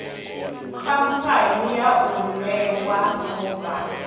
khamphani yau i ṋewa mubhann